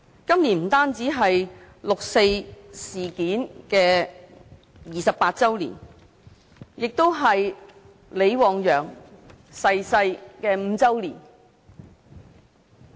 今年不單是六四事件28周年，也是李旺陽逝世5周年。